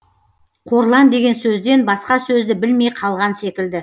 қорлан деген сөзден басқа сөзді білмей қалған секілді